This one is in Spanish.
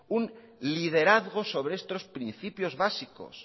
un liderazgo sobre estos principios básicos